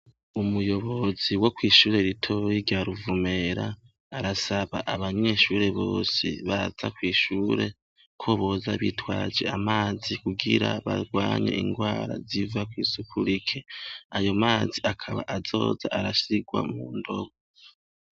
Umuyobozi wo kwishure ritoya rya Ruvumera ,arasaba abanyeshure bose baza kw’ishure, ko boza bitwaje amazi kugira barwanye ingwara ziva kw’isuku rike .Ayo mazi akaba azoza arasigwa mu ndobo.